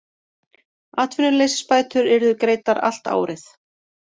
Atvinnuleysisbætur yrðu greiddar allt árið